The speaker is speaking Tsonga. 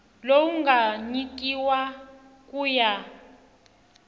lowu nga nyikiwa ku ya